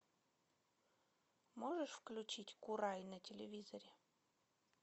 можешь включить курай на телевизоре